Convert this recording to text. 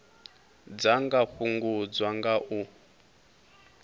dza nga fhungudzwa nga u